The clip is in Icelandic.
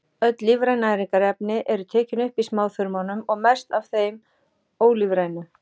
Öll lífræn næringarefni eru tekin upp í smáþörmunum og mest af þeim ólífrænu.